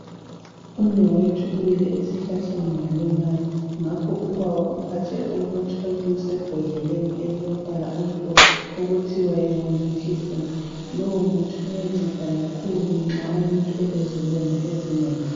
Umnewethu uwile esihlahleni walimala ngakho ubaba umphathele umuthi osebhodleleni elilombala omhlophe okuthiwa yi"woundcleansing " lowo muthi uyanceda kakhulu nxa umuntu elezilonda ezinengi.